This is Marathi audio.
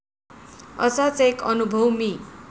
असाच एक अनुभव मी.